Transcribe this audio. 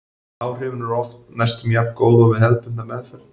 Áhrifin voru oft næstum jafngóð og við hefðbundna meðferð.